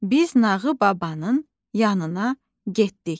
Biz Nağı babanın yanına getdik.